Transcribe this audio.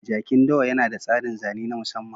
Jakin dawa yana da tsarin zane na musamman